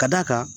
Ka d'a kan